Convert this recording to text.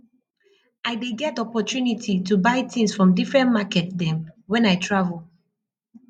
i dey get opportunity to buy tins from differen market dem wen i travel